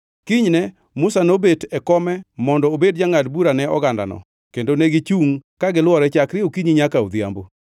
Kinyne, Musa nobet e kome mondo obed jangʼad bura ne ogandano, kendo negichungʼ ka gilwore chakre okinyi nyaka odhiambo.